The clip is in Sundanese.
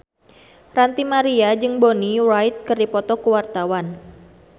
Ranty Maria jeung Bonnie Wright keur dipoto ku wartawan